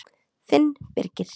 Þinn Birgir.